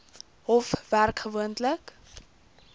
hof werk gewoonlik